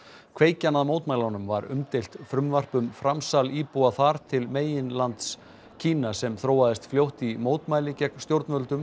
kveikjan að mótmælunum var umdeilt frumvarp um framsal íbúa þar til meginlands Kína sem þróaðist fljótt yfir í mótmæli gegn stjórnvöldum